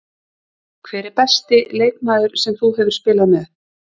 Hver er besti leikmaður sem þú hefur spilað með?